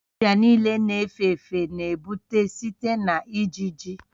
Ọrịa niile na-efe efe na-ebute site na ijiji